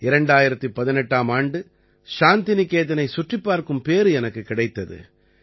2018ஆம் ஆண்டு சாந்தி நிகேதனைச் சுற்றிப் பார்க்கும் பேறு எனக்குக் கிடைத்தது